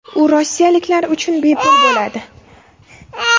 U rossiyaliklar uchun bepul bo‘ladi.